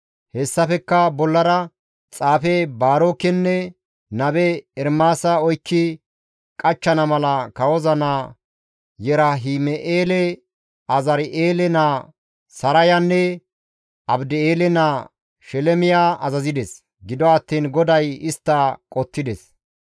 Hessafekka bollara xaafe Baarokenne nabe Ermaasa oykki qachchana mala kawoza naa Yerahim7eele, Azari7eele naa Sarayanne Abdi7eele naa Shelemiya azazides; gido attiin GODAY istta qottides.